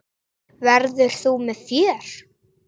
Verður þú með í för?